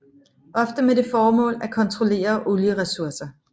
Ofte med det formål at kontrollere olieressourcer